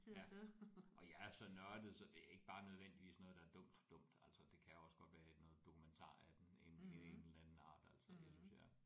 Ja og jeg er så nørdet så det er ikke bare nødvendigvis noget der er dumt dumt altså det kan også godt være noget dokumentar af den ene ene eller den anden art altså det synes jeg